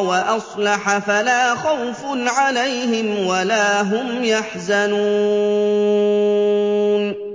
وَأَصْلَحَ فَلَا خَوْفٌ عَلَيْهِمْ وَلَا هُمْ يَحْزَنُونَ